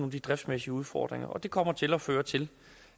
af de driftsmæssige udfordringer og det kommer til at føre til